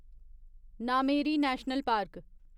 Nameri national park